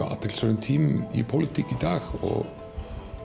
á athyglisverðum tímum í pólitík í dag og